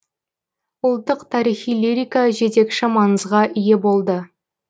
ұлтттық тарихи лирика жетекші маңызға ие болды